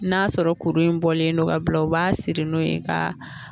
N'a sɔrɔ kuru in bɔlen don ka bila u b'a siri n'o ye ka